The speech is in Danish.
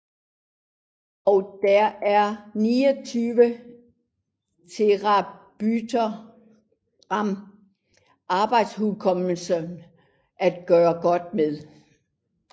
Og der er 29 terabyte ram arbejdshukommelse at gøre godt med